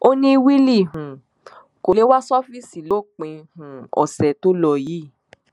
ó ní willy um kó lè wá ṣọfíìsì lópin um ọsẹ tó lò yìí